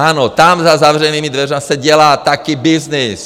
Ano, tam za zavřenými dveřmi se dělá taky byznys!